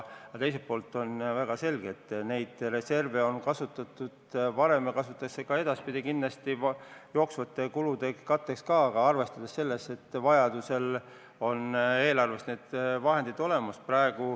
Teiselt poolt on väga selge, et neid reserve on kasutatud varem ja kindlasti kasutatakse ka edaspidi jooksvate kulude katteks, aga seejuures arvestatakse seda, et vajaduse korral oleks eelarves need vahendid olemas.